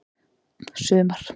sumar